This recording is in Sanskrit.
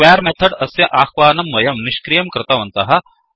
स्क्वेर् मेथड् अस्य आह्वानं वयं निष्क्रियं कृतवन्तः